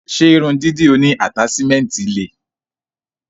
Ṣe irun dídì oní ataṣimẹnti le?